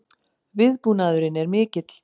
Viðbúnaðurinn er mikill